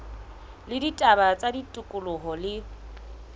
la ditaba tsa tikoloho le